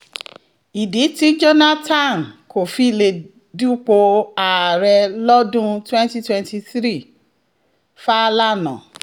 ìdí tí jonathan kò fi lè dupò ààrẹ lọ́dún 2023- fàlànà